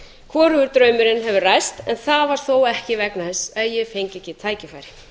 hvorugur draumurinn hefur ræst en það var þó ekki vegna þess að ég fengi ekki tækifæri